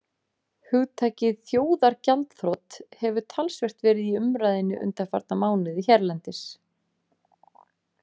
Hugtakið þjóðargjaldþrot hefur talsvert verið í umræðunni undanfarna mánuði hérlendis.